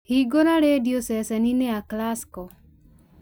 hingũra rĩndiũ ceceni-inĩ ya classical